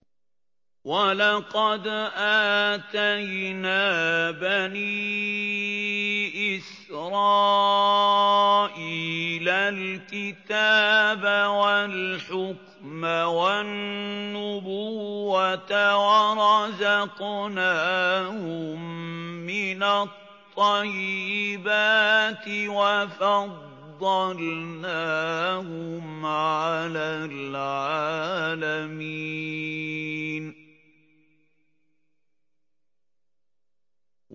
وَلَقَدْ آتَيْنَا بَنِي إِسْرَائِيلَ الْكِتَابَ وَالْحُكْمَ وَالنُّبُوَّةَ وَرَزَقْنَاهُم مِّنَ الطَّيِّبَاتِ وَفَضَّلْنَاهُمْ عَلَى الْعَالَمِينَ